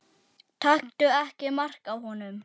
Taktu ekki mark á honum.